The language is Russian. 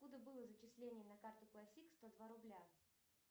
откуда было зачисление на карту классик сто два рубля